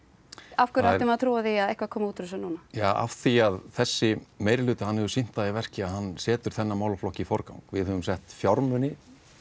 af hverju ætti maður að trúa því að eitthvað komi út úr þessu núna já af því að þessi hefur sýnt það í verki að hann setur þennan málaflokk í forgang við höfum sett fjármuni